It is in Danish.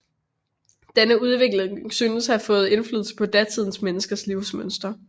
Denne udvikling synes at have fået indflydelse på datidens menneskers livsmønster